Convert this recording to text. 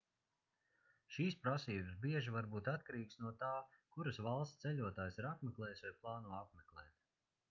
šīs prasības bieži var būt atkarīgas no tā kuras valstis ceļotājs ir apmeklējis vai plāno apmeklēt